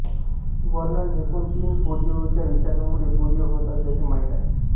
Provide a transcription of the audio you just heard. वर्णन एकूण तीन पोलिओच्या विषाणूमुळे पोलिओ होत असल्याचे माहीत आहे